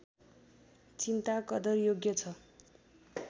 चिन्ता कदरयोग्य छ